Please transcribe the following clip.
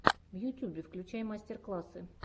в ютюбе включай мастер классы